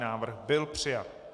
Návrh byl přijat.